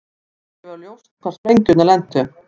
Ekki var ljóst hvar sprengjurnar lentu